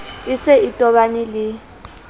a se a tobane le